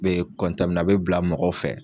Be a be bila mɔgɔw fɛ